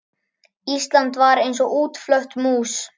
Ísland var eins og útflött mús.